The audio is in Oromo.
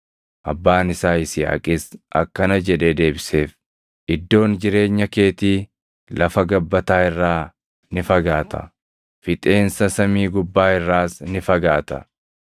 Abbaan isaa Yisihaaqis akkana jedhee deebiseef; “Iddoon jireenya keetii lafa gabbataa irraa ni fagaata; fixeensa samii gubbaa irraas ni fagaata.